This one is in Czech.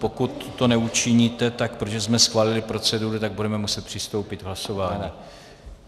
Pokud to neučiníte, tak protože jsme schválili proceduru, tak budeme muset přistoupit k hlasování.